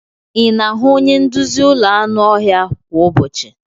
Ị na-ahụ onye nduzi ụlọ anụ ọhịa kwa ụbọchị?